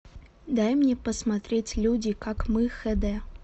дай мне посмотреть люди как мы хд